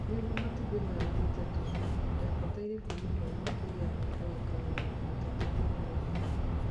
Niguo matumbĩ maya marute tũcui, ndabataire kuuma hau makiria ma dagika mĩrongo itatũ mũthenya ũmwe.